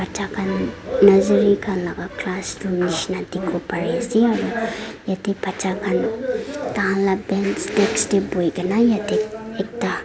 bacha khan nazery khan laka classroom nishina dikhiwo pariase aro yatae bacha khan takhan la bench desk tae boikae na yatae ekta.